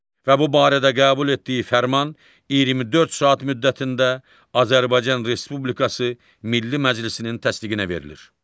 və bu barədə qəbul etdiyi fərman 24 saat müddətində Azərbaycan Respublikası Milli Məclisinin təsdiqinə verilir.